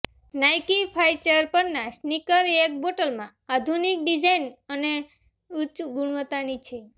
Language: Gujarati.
નાઇકી ફાચર પરના સ્નીકર એક બોટલમાં આધુનિક ડિઝાઇન અને ઉચ્ચ ગુણવત્તાની છે